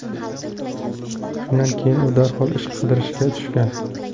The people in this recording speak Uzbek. Shundan keyin u darhol ish qidirishga tushgan.